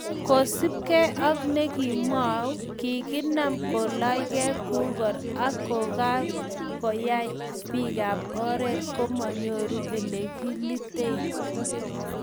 kosubgei ak nekimwou, kokiinam kolaanygei kukor ak kokoe ak koyai biikab oret komonyoru ole kilitei